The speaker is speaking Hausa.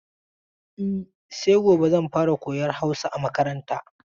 E, sai gobe zan fara koyan Hausa a makaranta.